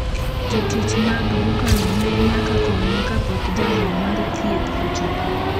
Jotich mag dukano ne nyaka konye kapok jalony mar thieth ochopo.